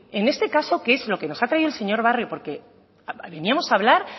en este caso que es lo que nos ha traído el señor barrio porque veníamos a hablar